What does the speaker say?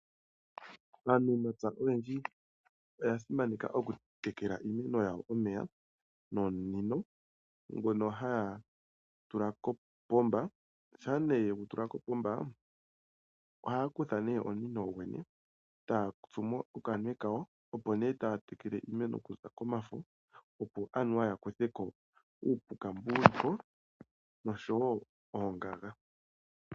Aanamapya oyendji oya simaneka oku tekela iimeno yawo nomeya nomunino ngono haya tula kopomba, shaa ne yegutula kopomba ohaya kutha nee omunino goyene taa tsumo okamunwe kawo opo nee taya tekele iimeno kuza komafo, opo anuwa yakutheko uupuka mbu wuliko noshowo oongaga.